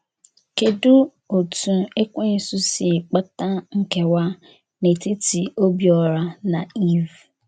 Kedụ otú Ekwensu si kpata nkewa n’etiti Obiora na Iv?